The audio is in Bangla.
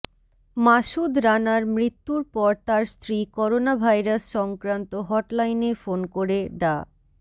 মাসুদ রানার মৃত্যুর পর তার স্ত্রী করোনাভাইরাস সংক্রান্ত হটলাইনে ফোন করে ডা